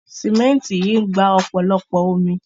Sìmẹ́ǹtì yìí ń gba ọ̀pọ̀lọpọ̀ omi.